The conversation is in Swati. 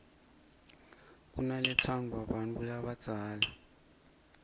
kunaletsandvwa bantfu labadzala